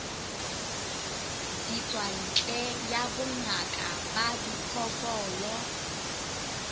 ditswantle ya bongaka ba diphoofolo